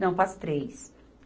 Não, para as três.